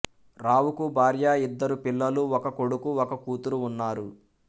రావుకు భార్య ఇద్దరు పిల్లలు ఒక కొడుకు ఒక కూతురు ఉన్నారు